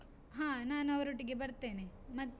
ಹಾ ನಾನ್ ಅವರೊಟ್ಟಿಗೆ ಬರ್ತೇನೆ ಮತ್ತೆ.